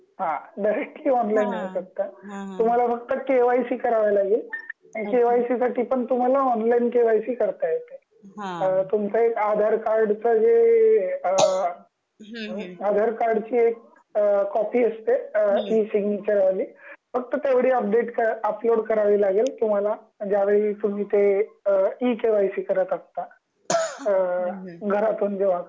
हा directly online होऊ शकत तुम्हाला फक्त के.वाय.सी करावं लागेल अच्छा के.वाय.सी साठी पण तुम्हाला ऑनलाईन के.वाय.सी करता येते. अ तुमचा एक आधार कार्डचा जे आधार कार्डची अ एक कॉपी असते अ ती सिग्नेचर वाली फक्त तेवढी अपडेट उपलोड करावी लागेल तुम्हाला ज्या वेळी तुम्ही ते इ के.वाय.सी करत असता.